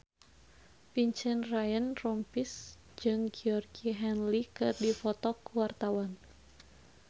Vincent Ryan Rompies jeung Georgie Henley keur dipoto ku wartawan